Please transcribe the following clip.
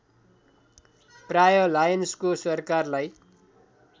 प्राय लायोन्सको सरकारलाई